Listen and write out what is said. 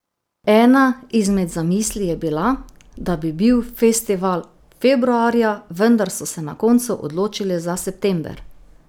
Ena izmed zamisli je bila, da bi bil festival februarja, vendar so se na koncu odločili za september.